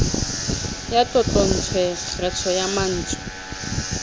ya tlotlontswe kgetho ya mantswe